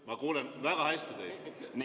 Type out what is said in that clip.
Ma kuulen teid väga hästi.